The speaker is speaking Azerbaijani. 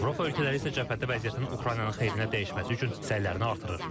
Avropa ölkələri isə cəbhədə vəziyyətin Ukraynanın xeyrinə dəyişməsi üçün səylərini artırır.